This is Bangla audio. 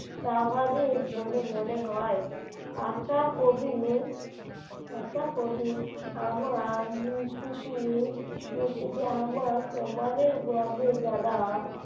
স্বাভাবিক বলে মনে হয় আশা করি আশা করি মূর্তিটি আমার মূর্তিটি আমার সমানের গর্ভে যারা